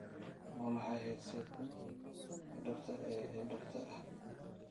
waa maxay headset-ka dhabta ah ee dhabta ah